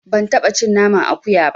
Ban taɓa cin naman akuya ba.